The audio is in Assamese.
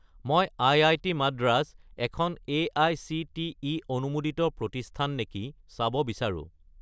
মই আই.আই.টি. মাদ্ৰাজ এখন এআইচিটিই অনুমোদিত প্ৰতিষ্ঠান নেকি চাব বিচাৰোঁ।